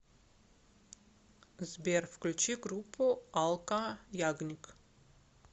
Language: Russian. сбер включи группу алка ягник